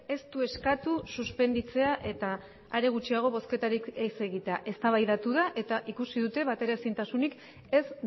ez du eskatu suspenditzea eta are gutxiago bozketarik ez egitea eztabaidatu da eta ikusi dute bateraezintasunik ez